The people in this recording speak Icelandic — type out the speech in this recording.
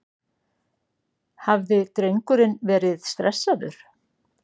Hafði drengurinn verið stressaður?